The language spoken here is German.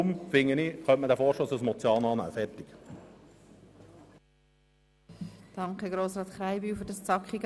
Darum finde ich, man könne diesen Vorstoss als Motion annehmen.